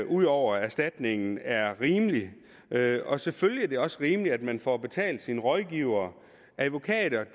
ud over erstatningen er rimelig og selvfølgelig er det også rimeligt at man får betalt sine rådgivere advokater